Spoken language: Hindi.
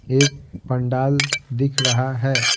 एक पंडाल दिख रहा है।